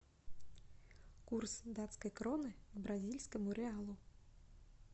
курс датской кроны к бразильскому реалу